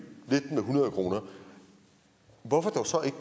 med hundrede kr hvorfor dog så ikke